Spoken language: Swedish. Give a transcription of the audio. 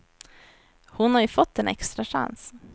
Hon har ju fått en extra chans.